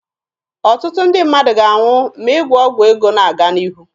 Ọtụtụ ndị mmadụ ga-anwụ ma ịgwọ ọgwụ ego na-aga n'ihu.